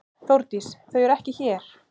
Þórdís: Þau eru ekki hér.